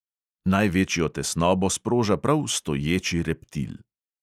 Največjo tesnobo sproža prav stoječi reptil.